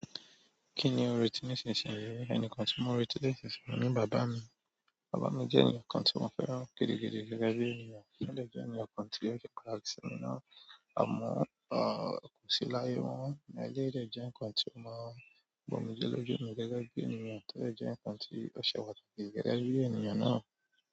Kí ni o n rèti nísinsìnyí? Ènìkàn tí mo n rèti nísinsìnyí ni bàbá mi. Bàbá mi jẹ́ ènìkàn tí mo fẹ́ran gidigidi gẹ́gẹ́ bí ènìyàn. Ó dẹ̀ jẹ́ ènìyàn kan tí ó se pàtàkì sí mi náà. Àmọ́, kò sí láyé mọ. Eleyi dẹ̀ jẹ́ ǹkan tí ó máa ń gbomije lójú eyan gẹ́gẹ́ bí ènìyàn, tò dẹ̀ jẹ́ ǹkan tí ó ṣe pàtàkì gẹ́gẹ́ bí ènìyàn náà.